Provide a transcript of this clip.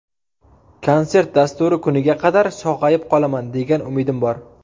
Konsert dasturi kuniga qadar sog‘ayib qolaman, degan umidim bor.